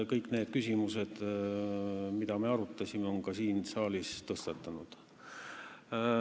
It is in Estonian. Kõik need küsimused, mida me arutasime, on ka siin saalis tõstatunud.